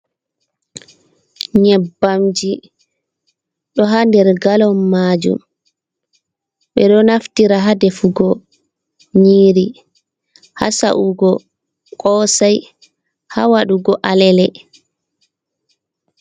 nyebbamji, ɗo haa nder galom maajum, ɓe ɗo naftira haa defugo nyiiri, haa sa’ugo Koosay, haa waɗugo Alele